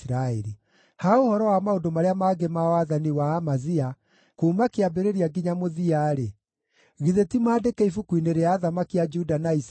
Ha ũhoro wa maũndũ marĩa mangĩ ma wathani wa Amazia kuuma kĩambĩrĩria nginya mũthia-rĩ, githĩ ti maandĩke ibuku-inĩ rĩa athamaki a Juda na Isiraeli?